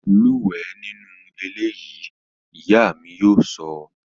Lúwẹ̀ẹ́ nínú eléyìí! Ìyá mi yóò sọ